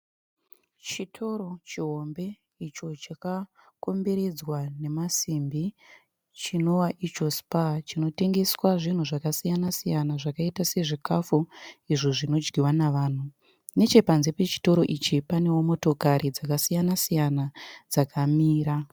Chitoro chihombe icho chaka komberedzwa namasimbi chinova icho 'SPAR', chinotengeswa zvinhu zvakasiyana siyana zvakaita sezvikafu izvo zvinodyiwa navanhu. Nechepanze pechitoro ichi manewo motokari dzakasiyana siyana dzakamira.